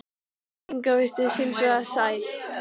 Inga virtist hins vegar sæl.